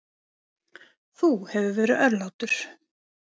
Þú hefur verið örlátur.